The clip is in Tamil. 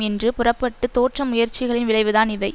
என்று புறப்பட்டு தோற்ற முயற்சிகளின் விளைவுதான் இவை